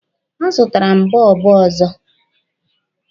A zụtara m bọlbụ ọzọ.